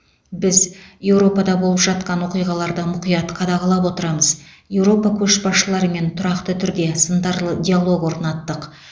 біз еуропада болып жатқан оқиғаларды мұқият қадағалап отырамыз еуропа көшбасшыларымен тұрақты түрде сындарлы диалог орнаттық